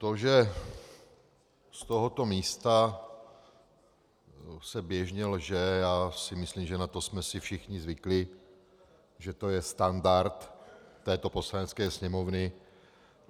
To, že z tohoto místa se běžně lže, já si myslím, že na to jsme si všichni zvykli, že to je standard této Poslanecké sněmovny.